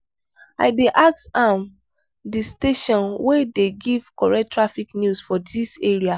i dey ask am di station wey dey give correct traffic news for dis area.